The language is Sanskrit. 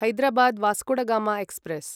हैदराबाद् वास्कोडगाम एक्स्प्रेस्